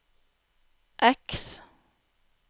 X